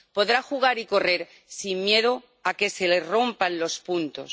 Podrá jugar y correr sin miedo a que se le rompan los puntos.